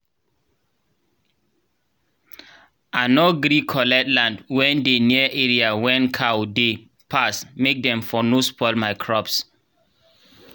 i nor gree collect land wen dey near area wen cow dey pass make dem for nor spoil my crops